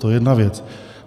To je jedna věc.